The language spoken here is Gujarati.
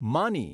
માની